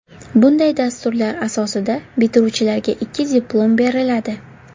Bunday dasturlar asosida bitiruvchilarga ikki diplom beriladi.